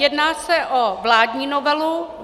Jedná se o vládní novelu.